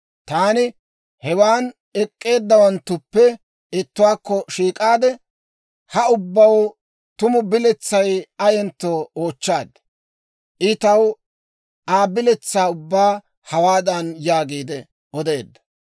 Taani hewaa ek'k'eeddawanttuppe ittuwaakko shiik'aade, ha ubbaw tumu biletsay ayentto oochchaad. I taw Aa biletsaa ubbaa hawaadan yaagiide odeedda;